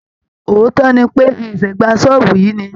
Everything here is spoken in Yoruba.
Òótọ́ ni pé, a ṣẹ̀ṣẹ̀ gba ṣọ́ọ̀bù yìí ni